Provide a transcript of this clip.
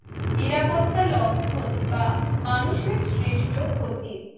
নিরাপত্তা লঙ্ঘন বা মানুষের সৃষ্ট ক্ষতি